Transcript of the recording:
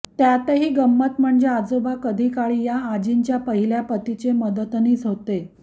त्यातही गंमत म्हणजे आजोबा कधी काळी या आजींच्या पहिल्या पतीचे मदतनीस होते